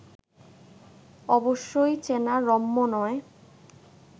অবশ্যই চেনা রম্য নয়